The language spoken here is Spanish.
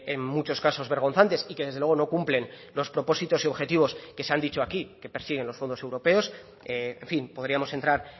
en muchos casos vergonzantes y que desde luego no cumplen los propósitos y objetivos que se han dicho aquí que persiguen los fondos europeos en fin podríamos entrar